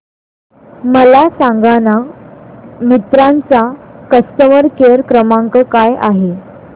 मला सांगाना मिंत्रा चा कस्टमर केअर क्रमांक काय आहे